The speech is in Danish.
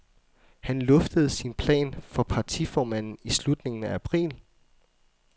Han luftede sin plan for partiformanden i slutningen af april.